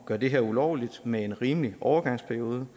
gøre det her ulovligt med en rimelig overgangsperiode